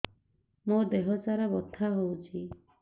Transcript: ମୋ ଦିହସାରା ବଥା ହଉଚି